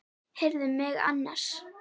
Heyrðu mig annars!